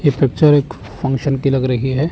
ये पिक्चर एक फंक्शन की लग रही है।